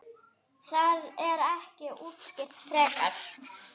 Það er ekki útskýrt frekar.